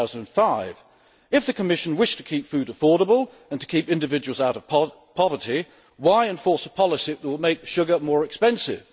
2005. If the Commission wished to keep food affordable and to keep individuals out of poverty, why enforce a policy that will make sugar more expensive?